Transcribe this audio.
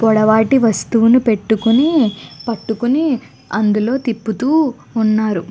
పొడవాటి వస్తువులు పెట్టుకుని పట్టుకుని అందులో తిప్పుతూ ఉన్నారు.